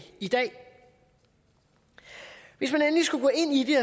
i dag hvis man endelig skulle gå ind i